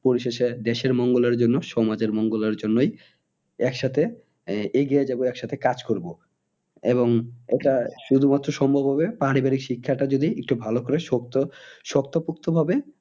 পরিশেষে দেশের মঙ্গলের জন্য সমাজের মঙ্গলের জন্যই এক সাথে আহ এগিয়ে যাবো এক সাথে কাজ করবো। এবং এটা শুধু মাত্র সম্ভব হবে পারিবারিক শিক্ষাটা যদি একটু ভালো করে শক্ত, শক্ত পুক্ত ভাবে